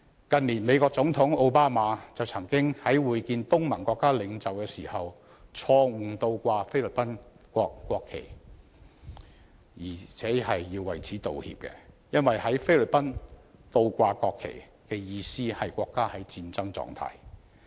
近年，美國總統奧巴馬曾在會見東盟國家領袖時因錯誤倒掛菲律賓國旗而要為此致歉，因為在菲律賓，倒掛國旗的意思是國家處於戰爭狀態。